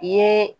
I ye